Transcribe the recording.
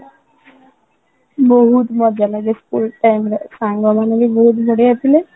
ବହୁତ ମଜା ଲାଗେ school time ରେ ସାଙ୍ଗ ମାନେ ବି ବହୁତ ବଢିଆ ଥିଲେ